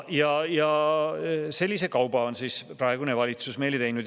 Sellise kauba on siis praegune valitsus meile teinud.